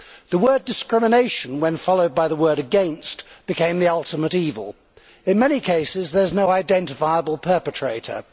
The word discrimination', when followed by the word against', became the ultimate evil. In many cases, there is no identifiable perpetrator.